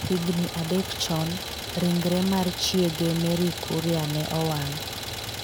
Higni adek chon, ringre mar chiege Mary Kuria ne owang'.